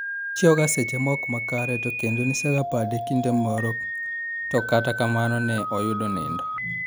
Ochiewo ga seche ma ok makare to kendo nsega pade kinde moro to kata kamano ne oyudo nindo."